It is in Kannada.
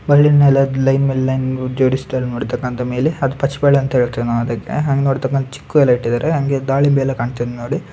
ಒಳ್ಳಿನ್ ಮೇಲೆ ಲೈನ್ ಮೇಲೆ ಲೈನ್ ಜೋಡಿಸ್ತರೆ ನೋಡತಕಂತ ಮೇಲೆ ಅದು ಪಚ್ಚ ಬಾಳೆಹಣ್ಣುಅಂತ ಹೇಳತ್ತಿವಿ ನಾವು ಅದಕೆ ಹಂಗ ನೋಡತಕಂತ ಚಿಕ್ಕುಎಲ್ಲಾ ಇಟ್ಟಿದರೆ ಹಂಗೆ ದಾಳಿಂಬೆ ಎಲ್ಲಾ ಕಾಣತ್ತಿದೆ ನೋಡಿ.